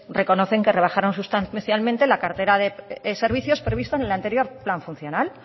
reconocen que rebajaron sustancialmente la cartera de servicios previstos en el anterior plan funcional